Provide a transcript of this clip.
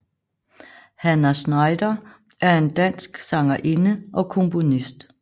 Hannah Schneider er en dansk sangerinde og komponist